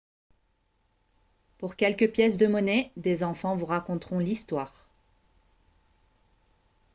pour quelques pièces de monnaie des enfants vous raconteront l'histoire